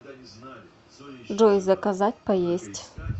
джой заказать поесть